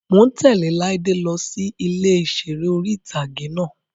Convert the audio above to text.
Mo máa tẹ̀lẹ́ Láídé lọ sí ilé ìseré orí-ìtágé náà